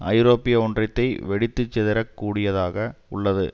ஐரோப்பிய ஒன்றியத்தை வெடித்து சிதறக் கூடியதாக உள்ளது